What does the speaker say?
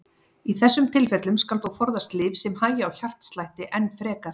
Í þessum tilfellum skal þó forðast lyf sem hægja á hjartslætti enn frekar.